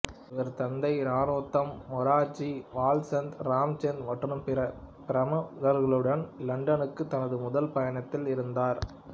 இவரது தந்தை நரோத்தம் மொரார்ஜி வால்சந்த் இராச்சந்த் மற்றும் பிற பிறமுகர்களுடன் இலண்டனுக்கு தனது முதல் பயணத்தில் இருந்தார்